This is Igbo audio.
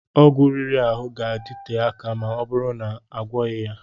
Ọgwụ riri ahụ ga-adịte akà ma ọbụrụ na-agwoghi ya.